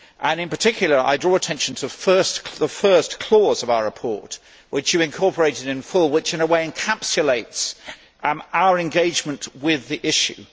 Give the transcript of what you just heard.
In particular I draw attention to the first clause of our report, which you incorporated in full and which in a way encapsulates our engagement with the issue.